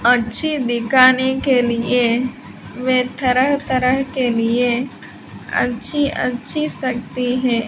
अच्छी दिकाने के लिए मैं तरह तरह के लिए अच्छी अच्छी सकती है।